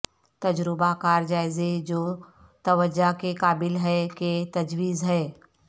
تجربہ کار جائزے جو توجہ کے قابل ہے کہ تجویز ہے